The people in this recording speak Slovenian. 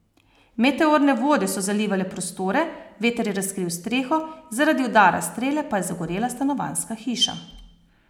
Meteorne vode so zalivale prostore, veter je razkril streho, zaradi udara strele pa je zagorela stanovanjska hiša.